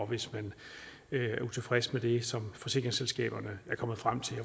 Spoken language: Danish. hvis man er utilfreds med det som forsikringsselskaberne er kommet frem til og